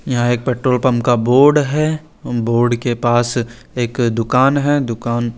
यहा एक petrol pump का बोर्ड है बोर्ड के पास एक दूकान है दूकान--